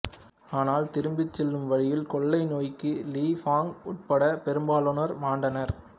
ஆனால் திரும்பிச் செல்லும்வழியில் கொள்ளை நோய்க்கு லீய் ஃபாங் உட்பட பெரும்பாலோனர் மாண்டனர்